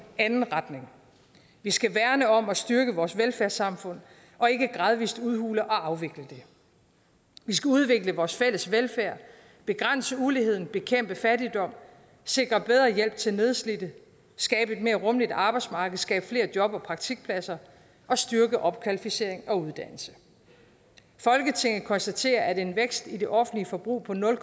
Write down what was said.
anden retning vi skal værne om og styrke vores velfærdssamfund og ikke gradvis udhule og afvikle det vi skal udvikle vores fælles velfærd begrænse uligheden bekæmpe fattigdom sikre bedre hjælp til nedslidte skabe et mere rummeligt arbejdsmarked skabe flere job og praktikpladser og styrke opkvalificering og uddannelse folketinget konstaterer at en vækst i det offentlige forbrug på nul